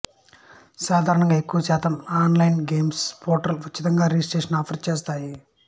సాధారణంగా ఎక్కువశాతం online games portals ఉచితంగా రిజిస్ట్రేషన్ ఆఫర్ చేస్తాయి